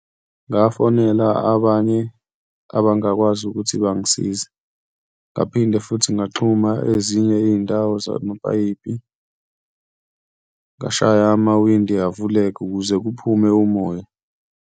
Ngafonela abanye abangakwazi ukuthi bangisize, ngaphinde futhi ngaxhuma ezinye iy'ndawo zamapayipi, ngashaya amawindi avuleka ukuze kuphume umoya.